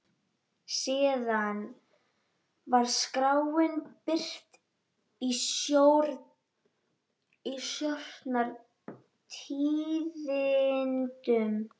Síðan var skráin birt í Stjórnar- tíðindum.